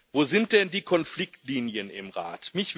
Wo sind denn die Konfliktlinien im Rat?